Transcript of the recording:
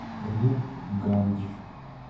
рупгандж